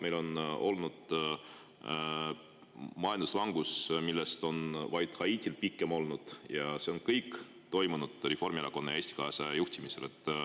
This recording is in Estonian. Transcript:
Meil on olnud majanduslangus, millest pikem on olnud vaid Haitil, ja see kõik on toimunud Reformierakonna ja Eesti 200 juhtimisel.